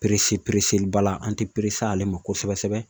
baara an tɛ ale ma kosɛbɛ sɛbɛ